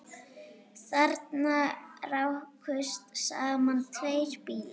Þarna rákust saman tveir bílar